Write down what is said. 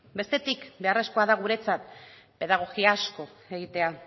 bestetik beharrezkoa da guretzat pedagogia asko egitea